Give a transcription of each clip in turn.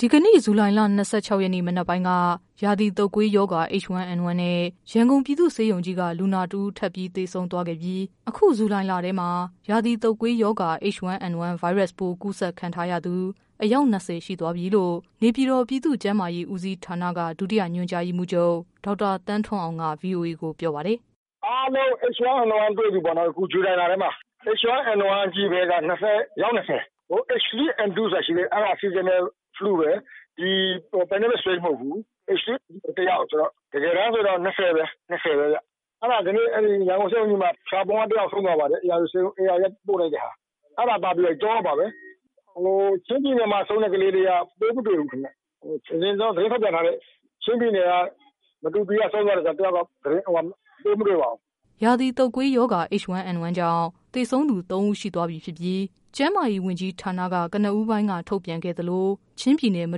ဒီကနေ့ ဇူလိုင်လ ၂၆ရက်နေ့ မနက်ပိုင်းက ရာသီတုပ်ကွေးရောဂါ H1N1 နဲ့ ရန်ကုန် ပြည်သူ့ဆေးရုံကြီး က လူနာတဦး ထပ်သေဆုံးသွားခဲ့ပြီး အခု ဇူလိုင်လထဲမှာ ရာသီတုပ်ကွေးရောဂါ H1N1 ဗိုင်းရပ်စ်ပိုး ကူး စက်ခံရသူ အယောက် ၂၀ရှိသွားပြီလို့ နေပြည်တော် ပြည်သူ့ကျန်းမာရေးဦးစီးဌာနက ဒုတိယ ညွှန်ကြား ရေးမှူးချုပ် ဒေါက်တာ သန်းထွန်းအောင်က ဗွီအိုအေကို ပြောပါတယ်။ “အားလုံး H1N1တွေ့ပြီပေါ့နော် အခု ဇူလိုင်လထဲမှာ။ H1N1က အယောက် ၂၀၊ H2N2 ဆိုတာရှိသေးတယ် အဲဒါ Seasonal flue ပဲ extreme မဟုတ်ဘူး။ ဒီ H1N1က အယောက် ၂၀ ပဲ။ ဒီကနေ့ ရန်ကုန်ဆေးရုံကြီးမှာ ဖျာပုံက ဆုံးသွားပါတယ်။ ဧရာဝတီက ပို့လိုက်တဲ့ဟာ အဲဒါပါပဲ ၃ ယောက်ပါပဲ ။ ချင်းပြည်နယ်မှာ ဆုံးတဲ့ကလေးက ပိုးမတွေ့ဘူး။ သတင်းထုတ်ပြန်ထားတဲ့ မတူပီက ဆုံးတဲ့ ၁ယောက်ကတော့ ပိုးမတွေ့ပါဘူး။” ရာသီတုပ်ကွေးရောဂါ H1N1 ကြောင့် သေဆုံးသူ ၃ဦးရှိသွားပြီဖြစ်ပြီး ကျန်းမာရေးဝန်ကြီးဌာနက ကနဦး ပိုင်းက ထုတ်ပြန်ခဲ့သလို ချင်းပြည်နယ် မ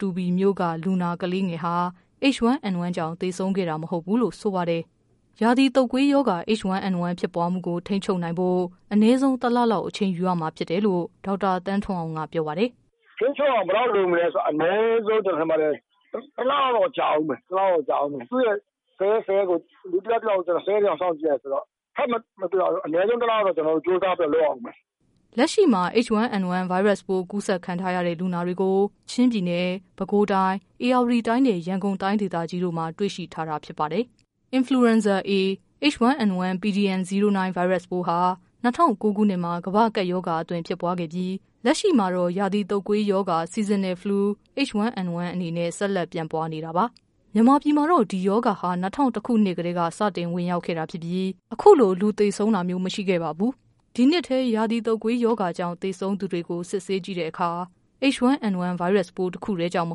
တူပီမြို့ က လူနာ ကလေးငယ်ဟာ H1N1 ကြောင့် သေဆုံးခဲ့ တာ မဟုတ်ဘူး လို့ ဆိုပါတယ်။ ရာသီတုပ်ကွေးရောဂါ H1N1 ဖြစ်ပွားမှုကို ထိန်းချုပ်နိုင်ဖို့ အနည်းဆုံး ၁လ လောက် အချိန်ယူရမှာ ဖြစ်တယ်လို့လည်း ဒေါက်တာ သန်းထွန်းအောင်က ပြောပါတယ်။ “ထိန်းချုပ်အောင် ဘယ်လောက်လိုမလဲဆိုတော့ အနည်းဆုံး ၁လ လောက်တော့ကြာဦးမယ်။ လူ၁ ယောက် ၁ ယောက်ကို ၁၀ ရက်လောက်စောင့်ကြည့်ရတယ်ဆိုတော့ အနည်းဆုံး ၁လ လောက်တော့ ကျနော်တို့ ကြိုးစားပြီးတော့ လုပ်ကြည့်ရဦးမယ်။” လက်ရှိမှာ H1N1 ဗိုင်းရပ်စ်ပိုး ကူစက်ခံထားရတဲ့လူနာတွေကို ချင်းပြည်နယ်၊ ပဲခူးတိုင်း၊ ဧရာဝတီတိုင်းနဲ့ ရန်ကုန်တိုင်းဒေသကြီးတို့မှာ တွေ့ရှိထားတာဖြစ်ပါတယ်။ Influenza A pdm09 ဗိုင်းရပ်စ်ပိုးဟာ ၂၀၀၉ ခုနှစ်မှာ ကမ္ဘာ့ကပ်ရောဂါအသွင် ဖြစ်ပွားခဲ့ပြီး လက်ရှိမှာတော့ ရာသီတုပ်ကွေးရောဂါ Seasonal Flu H1N1 အနေနဲ့ ဆက်လက်ပြန့်ပွားနေတာပါ။ မြန်မာပြည်မှာတော့ ဒီရောဂါဟာ ၂၀၀၁ ခုနှစ်ကတည်းက စတင်ဝင်ရောက်ခဲ့တာဖြစ်ပြီး အခုလို လူသေ ဆုံးတာမျိုး မရှိခဲ့ပါဘူး။ ဒီနှစ်ထဲ ရာသီတုပ်ကွေးရောဂါကြောင့် သေဆုံးသူတွေကို စစ်ဆေးကြည့်တဲ့အခါ H1N1 ဗိုင်းရပ်စ်ပိုး တခုတည်းကြောင့်မ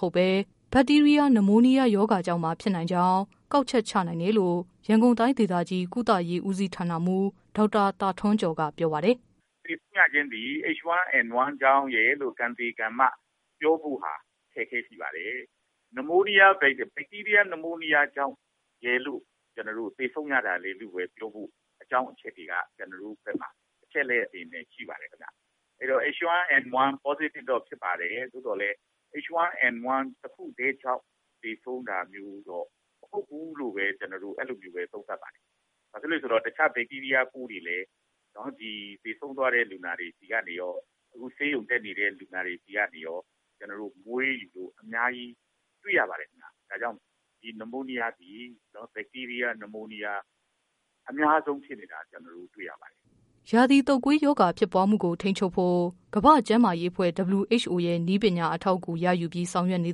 ဟုတ်ဘဲ ဘတ်တီးရီးယား နမိုးနီးယားရောဂါကြောင့်ပါ ဖြစ်နိုင် ကြောင်း ကောက်ချက် ချနိုင်တယ်လို့ ရန်ကုန်တိုင်းဒေသကြီး ကုသရေး ဦးစီးဌာနမှူး ဒေါက်တာ သာ ထွန်းကျော် က ပြောပါတယ်။ “သေဆုံးရခြင်းသည်H1N1ကြောင့်ရယ်လို့ ကံသေကံမ ပြောဖို့ အခက်အခဲရှိပါတယ်။ ဘတ်တီးရီးယား နမိုးနီးယားရောဂါကြောင့်ရယ်လို့ သေဆုံးရတာလည်းလို့ပြောဖို့ ကျနေ်ာတို့မှာ အကြောင်းအချက်တွေက ကျနော်တို့ဘက်မှာ အချက်အလက်တွေနဲ့ ရှိပါတယ်ခင်ဗျ။ H1N1 positive တော့ဖြစ်ပါတယ်။ သို့သော်လည်းH1N1 တခုတည်းကြောင့်လို့တော့ သေဆုံးတာမျိုး မဟုတ်ဘူးလို့ပဲ ကျနော်တို့ အဲလိုသုံးသပ်ပါတယ်။ ဘာဖြစ်လို့လဲဆိုတော့ တခြား ဘတ်တီးရီးယားပိုးတွေလည်း သေဆုံးသွားတဲ့ လူနာတွေဆီကနေရော ၊ အခုဆေးရုံတက်နေတဲ့ လူနာတွေဆီကနေရော ကျနော်တို့ အများကြီးတွေ့ရပါတယ်ခင်ဗျ။ ဒါကြောင့် ဒီ နမိုးနီးယားသည် ဘတ်တီးရီးယား နမိုးနီးယား အများဆုံးဖြစ်နေတာ ကျနော်တို့ တွေ့ရပါတယ်။” ရာသီတုပ်ကွေးရောဂါ ဖြစ်ပွားမှုကို ထိန်းချုပ်ဖို့ ကမ္ဘာ့ကျန်းမာရေးအဖွဲ့ WHO ရဲ့ နည်းပညာ အထောက် အကူရယူပြီး ဆောင်ရွက်နေ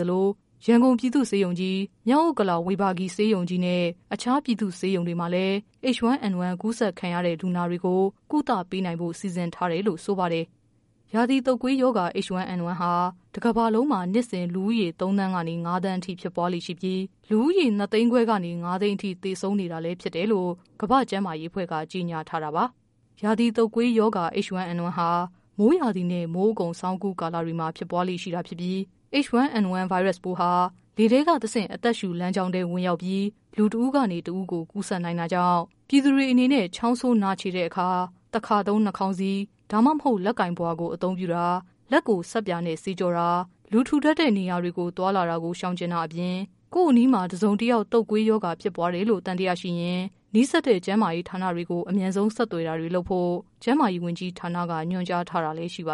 သလို ရန်ကုန်ပြည်သူ့ဆေးရုံကြီး၊ မြောက်ဥက္ကလာ ဝေဘာဂီ ဆေးရုံကြီးနဲ့ အခြား ပြည်သူ့ဆေးရုံတွေမှာလည်း H1N1 ကူးစက်ခံရတဲ့ လူနာတွေကို ကုသနိုင်ဖို့ စီမံထားတယ်လို့ ဆိုပါတယ်။ ရာသီတုပ်ကွေးရောဂါဟာ တကမ္ဘာလုံးမှာ နှစ်စဉ် လူဦးရေ ၃သန်းကနေ ၅သန်းအထိ ဖြစ်ပွားလေ့ရှိပြီး လူဦးရေ ၂သိန်းခွဲကနေ ၅သိန်းအထိ သေဆုံးနေတာလဲဖြစ်တယ်လို့ ကမ္ဘာ့ကျန်းမာရေးအဖွဲ့က ကြေညာ ထားတာပါ။ ရာသီတုတ်ကွေးရောဂါ H1N1 ဟာ မိုးရာသီနဲ့ မိုးအကုန် ဆောင်းအကူး ကာလတွေမှာ ဖြစ်ပွားလေ့ရှိ တာဖြစ်ပြီး H1N1 ဗိုင်းရပ်ပိုးဟာ လေထဲတဆင့် အသက်ရှုလမ်းကြောင်းထဲ ဝင်ရောက်ပြီး လူတဦးကနေ တဦးကို ကူးစက်နိုင်တာကြောင့် ပြည်သူတွေအနေနဲ့ ချောင်းဆိုး နှာချေတဲ့အခါ တခါသုံး နှာခေါင်းစည်း ဒါမှမဟုတ် လက်ပိုင်ပုဝါ အသုံးပြုတာ၊ လက်ကို ဆပ်ပြာနဲ့ သေချာ ဆေးကြောတာ၊ လူထူထပ်တဲ့ နေရာ တွေကို သွားလာတာကို ရှောင်တာ၊ ကိုယ့်အနီးမှာ တစုံတယောက် တုပ်ကွေးရောဂါဖြစ်ပွားတယ်လို့ သံ သယရှိရင် နီးစပ်တဲ့ ကျန်းမာရေး ဌာနကို အမြန်ဆုံးဆက်သွယ်တာတွေ လုပ်ဖို့ ကျန်းမာရေးဝန်ကြီးဌာန က ညွှန်ကြားထားတာလဲ ရှိပါ